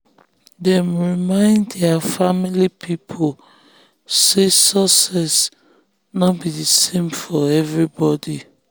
dem remindt their family people say success no be the same for everybody.